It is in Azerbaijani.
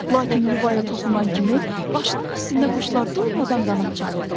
Lakin yuvaya toxunan kimi başının üstündə quşlar durmadan qanad çalırdılar.